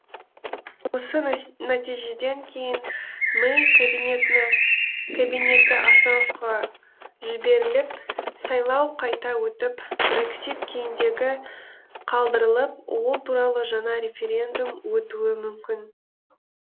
осы нәтижеден кейін мэй кабинеті остановкаға жіберіліп сайлау қайта өтіп брексит кейіндегі қалдырылып ол туралы жаңа референдум өтуі мүмкін